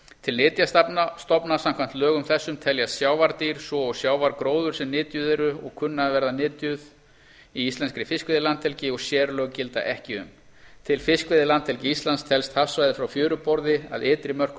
annarrar greinar til nytjastofna samkvæmt lögum þessum teljast sjávardýr svo og sjávargróður sem nytjuð eru og kunna að verða nytjuð í íslenskri fiskveiðilandhelgi og sérlög gilda ekki um til fiskveiðilandhelgi íslands telst hafsvæðið frá fjöruborði að ytri mörkum